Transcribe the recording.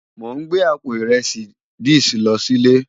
Mó n gbé àpó irèsí this lò silé